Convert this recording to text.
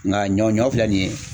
Nka ɲɔ ɲɔ filɛ nin ye